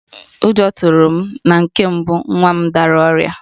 Ụjọ tụrụ m na nke mbụ nwa m dara ọrịa